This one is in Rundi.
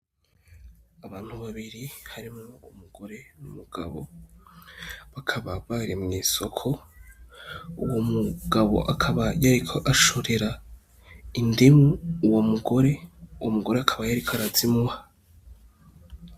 Abantu babiri harimwo umugore n'umugabo, bakaba bahuriye mw'isoko, uwo mugabo akaba yariko ashorera uwo mugore indimu, uwo mugore akaba yariko arazimuha.